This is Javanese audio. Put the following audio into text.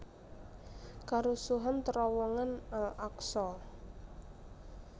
Karusuhan terowongan Al Aqsa